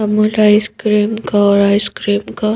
Amul ice cream का और ice cream का --